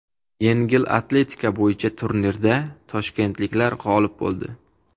Yengil atletika bo‘yicha turnirda toshkentliklar g‘olib bo‘ldi.